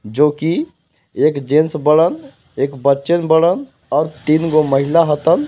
जो की एक जेंस एक बच्चा और तीन गो महिला .]